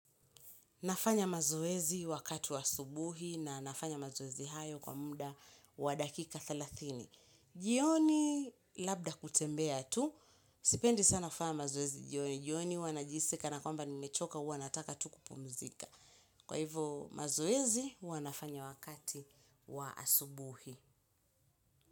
Nafanya mazoezi wakati wa subuhi, na nafanya mazoezi hayo kwa muda wa dakika thelathini, jioni labda kutembea tu. Sipendi sana kufanya mazoezi jioni. Jioni huwa najihisi kana kwamba nimechoka huwa nataka tu kupumzika. Kwa hivo mazoezi huwa nafanya wakati wa asubuhi.